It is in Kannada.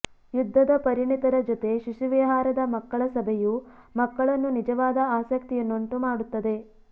ಯುದ್ಧದ ಪರಿಣತರ ಜೊತೆ ಶಿಶುವಿಹಾರದ ಮಕ್ಕಳ ಸಭೆಯು ಮಕ್ಕಳನ್ನು ನಿಜವಾದ ಆಸಕ್ತಿಯನ್ನುಂಟುಮಾಡುತ್ತದೆ